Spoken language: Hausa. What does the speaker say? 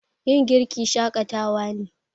Yin girki shakatawa ne.